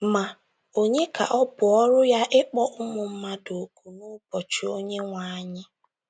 Ma, ònye ka ọ bụ ọrụ ya ịkpọ ụmụ mmadụ òkù n’ụbọchị Onyenwe anyị?